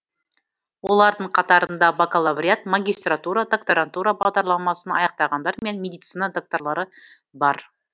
олардың қатарында бакалавриат магистратура докторантура бағдарламасын аяқтағандар мен медицина докторлары бар